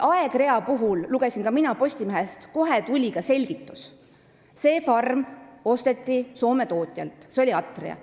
Aegrea kohta, mida ka mina Postimehest lugesin, tuli kohe selgitus, et see farm osteti Soome tootjalt Atria.